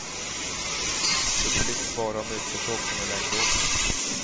Så det blir inte bara om utförsåkning och längdåkning.